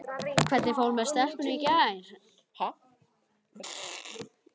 Hvernig fór með stelpuna í gær?